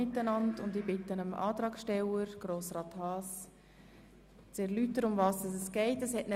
Darüber werden wir vor der Schlussabstimmung befinden.